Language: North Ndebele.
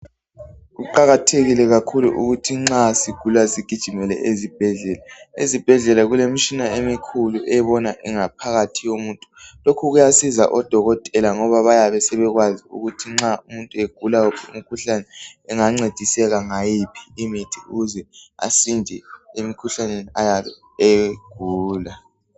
Kuqakathekile kakhulu ukuthi nxa sigula sigijimele ezibhendlela. Ezibhendlela kulemitshina emikhulu ebona ingaphakathi yomuntu lokhu kuyasiza odokotela ngoba bayabe sebekwazi ukuthi nxa umuntu egula ngomikhuhlane engancediseka ngayiphi imithi ukuze asinde emkhuhlaneni ayabe eyigula.